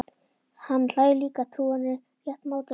Hann hlær líka, trúir henni rétt mátulega.